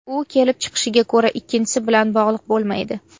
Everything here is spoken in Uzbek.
U kelib chiqishiga ko‘ra ikkinchisi bilan bog‘liq bo‘lmaydi.